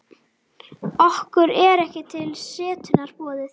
Okkur er ekki til setunnar boðið.